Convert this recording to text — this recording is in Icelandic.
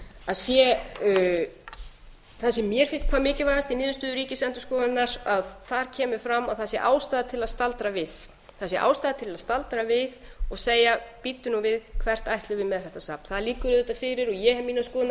að sé það sem mér finnst hvað mikilvægast í niðurstöðu ríkisendurskoðunar að þar kemur fram að það sé ástæða til að staldra við það sé ástæða til að staldra við og segja bíddu nú við hvert ætlum við með þetta safn það liggur auðvitað fyrir og ég hef mínar skoðanir